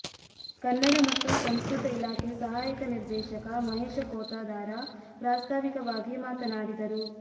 ಕನ್ನಡ ಮತ್ತು ಸಂಸ್ಕೃತ ಇಲಾಖೆ ಸಹಾಯಕ ನಿರ್ದೇಶಕ ಮಹೇಶ ಪೋತದಾರ ಪ್ರಾಸ್ತಾವಿಕವಾಗಿ ಮಾತನಾಡಿದರು